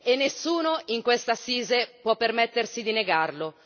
E nessuno in questa assise può permettersi di negarlo.